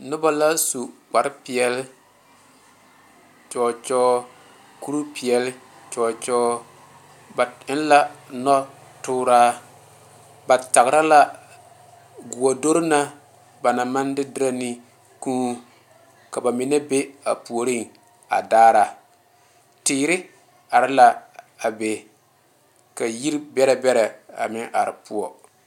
Noba la su kpare peɛle kyɔɔ kyɔɔ kuri peɛle kyɔɔ kyɔɔ ba eŋ la noɔ tɔɔra ba tara la gɔɔdoro na ba naŋ maŋ de deɛ ne kūū ka ba mine be a puori a daara teere are la a be ka yiri bɛre bɛre a meŋ are poɔ.